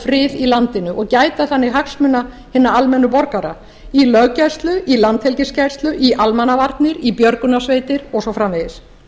frið í landinu og gæta þannig hagsmuna hinna almennu borgara í löggæslu í landhelgisgæslu í almannavarnir í björgunarsveit og svo framvegis